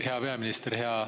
Hea peaminister!